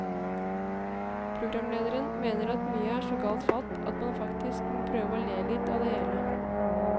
Programlederen mener at mye er så galt fatt at man faktisk må prøve å le litt av det hele.